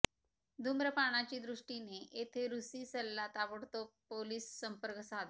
धूम्रपानाची दृष्टीने येथे रूसी सल्ला ताबडतोब पोलीस संपर्क साधा